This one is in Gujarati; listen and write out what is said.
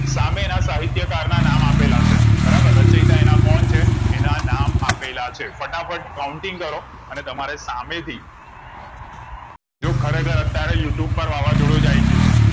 સામે નાસહિતયકાર ના નામ આપેલા હશે બરાબર રચાયતા એના કોણ છે એના નામ આપેલા છે ફાટફાટ counting કરો અને તમારે સામેથી જો ખરેખર અત્યરે you tube વાવાઝોડું આયી ગયું છે